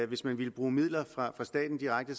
hvis man ville bruge midler fra staten direkte